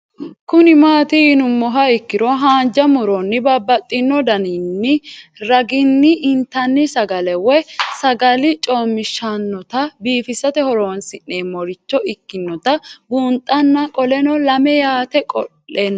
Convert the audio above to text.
Kuni mati yinumoha ikiro hanja muroni babaxino daninina ragini intani sagale woyi sagali comishatenna bifisate horonsine'morich ikinota bunxana qoleno lame yaate qoleno